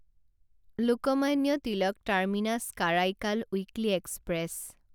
Lokmanya Tilak terminus Karaikal weekly express